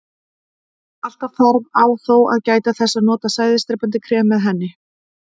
Alltaf þarf á þó að gæta þess að nota sæðisdrepandi krem með henni.